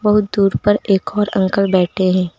बहोत दूर पर एक और अंकल बैठे हैं।